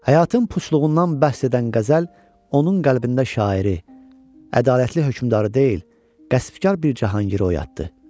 Həyatın puçluğundan bəhs edən qəzəl onun qəlbində şairi, ədalətli hökmdarı deyil, qəsbkar bir cahangiri oyatdı.